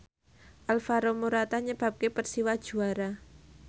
Alvaro Morata nyebabke Persiwa juara